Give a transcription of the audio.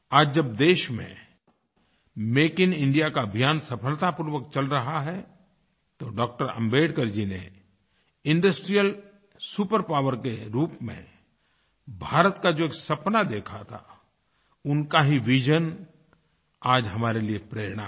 आज जब देश में मेक इन इंडिया का अभियान सफलतापूर्वक चल रहा है तो डॉ० आम्बेडकर जी ने इंडस्ट्रियल सुपर पॉवर के रूप में भारत का जो एक सपना देखा थाउनका ही विजन आज हमारे लिए प्रेरणा है